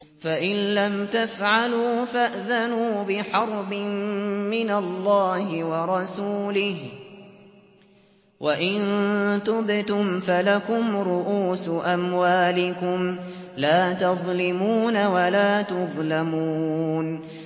فَإِن لَّمْ تَفْعَلُوا فَأْذَنُوا بِحَرْبٍ مِّنَ اللَّهِ وَرَسُولِهِ ۖ وَإِن تُبْتُمْ فَلَكُمْ رُءُوسُ أَمْوَالِكُمْ لَا تَظْلِمُونَ وَلَا تُظْلَمُونَ